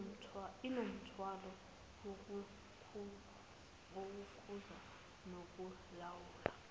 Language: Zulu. inomthwalo wokukhuza nokulawula